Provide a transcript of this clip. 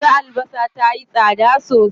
Yanzu albasa tayi tsada sosai.